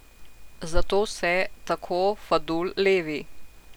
Zato se, tako Fadul, levi.